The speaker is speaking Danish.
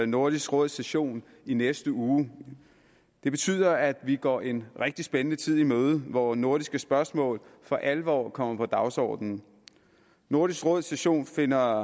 nordisk råds session i næste uge det betyder at vi går en rigtig spændende tid i møde hvor nordiske spørgsmål for alvor kommer på dagsordenen nordisk råds session finder